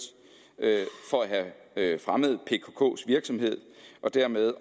for at have fremmet pkks virksomhed og dermed